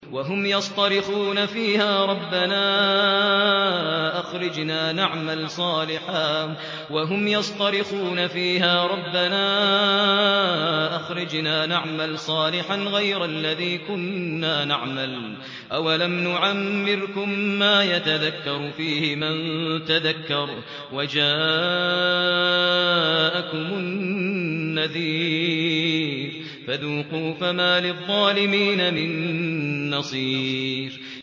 وَهُمْ يَصْطَرِخُونَ فِيهَا رَبَّنَا أَخْرِجْنَا نَعْمَلْ صَالِحًا غَيْرَ الَّذِي كُنَّا نَعْمَلُ ۚ أَوَلَمْ نُعَمِّرْكُم مَّا يَتَذَكَّرُ فِيهِ مَن تَذَكَّرَ وَجَاءَكُمُ النَّذِيرُ ۖ فَذُوقُوا فَمَا لِلظَّالِمِينَ مِن نَّصِيرٍ